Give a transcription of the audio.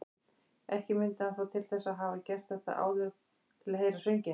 Ekki mundi hann þó til þess að hafa gert þetta áður til að heyra sönginn.